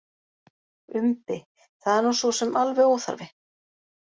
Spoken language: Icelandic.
Umbi: Það er nú sosum alveg óþarfi.